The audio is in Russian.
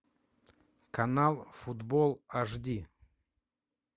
канал футбол аш ди